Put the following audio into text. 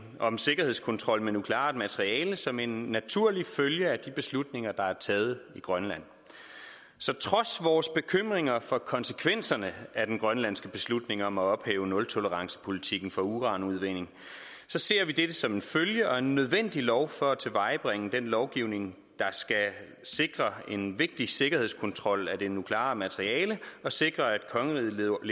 om sikkerhedskontrol med nukleart materiale som en naturlig følge af de beslutninger der er taget i grønland så trods vores bekymringer for konsekvenserne af den grønlandske beslutning om at ophæve nultolerancepolitikken for uranudvinding ser vi dette som en følge og en nødvendig lov for at tilvejebringe den lovgivning der skal sikre en vigtig sikkerhedskontrol af det nukleare materiale og sikre at kongeriget lever